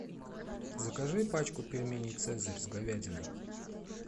закажи пачку пельменей цезарь с говядиной